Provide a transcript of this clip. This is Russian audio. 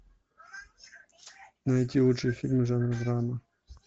найти лучшие фильмы жанра драма